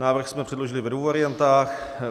Návrh jsme předložili ve dvou variantách.